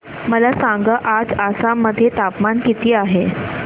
मला सांगा आज आसाम मध्ये तापमान किती आहे